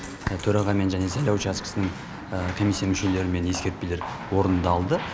төрағамен және сайлау учаскесінің комиссия мүшелерімен ескертпелер орындалды